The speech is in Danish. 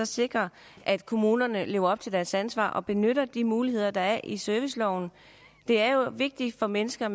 sikre at kommunerne lever op til deres ansvar og benytter de muligheder der er i serviceloven det er jo vigtigt for mennesker